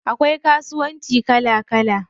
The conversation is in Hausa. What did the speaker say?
Akwai kasuwanci kala kala.